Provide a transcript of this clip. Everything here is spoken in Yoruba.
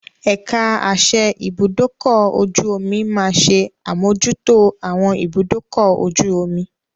Ẹ̀ka àsẹ ibùdókọ̀-ojú-omi máa ṣe àmójútó àwọn ibùdúkọ̀-ojú omi.